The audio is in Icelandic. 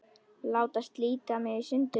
Láta slíta mig í sundur.